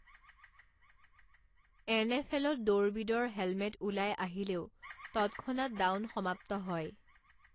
N F এলত দৌৰবিদৰ helmet ওলাই আহিলেও তৎক্ষণাৎ ডাউন সমাপ্ত হয়।